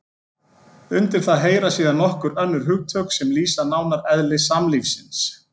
Undir það heyra síðan nokkur önnur hugtök sem lýsa nánar eðli samlífisins.